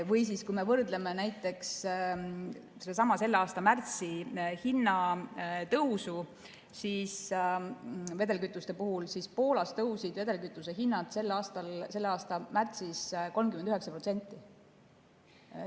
Või kui me võrdleme näiteks selle aasta märtsi hinnatõusu vedelkütuste puhul, siis Poolas tõusid vedelkütuste hinnad selle aasta märtsis 39%.